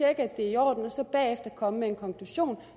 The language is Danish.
at det er i orden og så bagefter komme med en konklusion